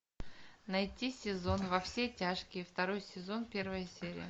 найти сезон во все тяжкие второй сезон первая серия